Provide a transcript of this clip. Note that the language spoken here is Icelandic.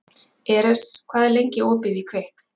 Eres, hvað er lengi opið í Kvikk?